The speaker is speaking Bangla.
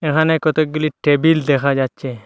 এখানে কতকগুলি টেবিল দেখা যাচ্ছে।